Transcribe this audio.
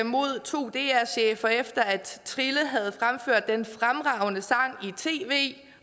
mod to dr chefer efter at trille havde fremført den fremragende sang i tv